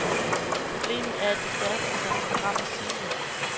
Problemet er, at de færreste tør stå frem og sige det.